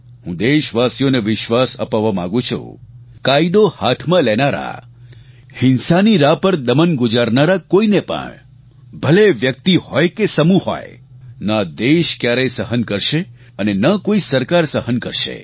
હું દેશવાસીઓને વિશ્વાસ અપાવવા માગું છું કાયદો હાથમાં લેનારા હિંસાની રાહ પર દમન ગુજારનારા કોઈને પણ ભલે એ વ્યક્તિ હોય કે સમૂહ હોય ન આ દેશ ક્યારેય સહન કરશે અને ન કોઈ સરકાર સહન કરશે